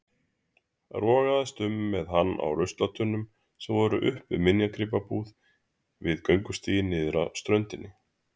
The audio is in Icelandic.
Rogaðist með hann að ruslatunnunum sem voru upp við minjagripabúð við göngustíginn niður á ströndina.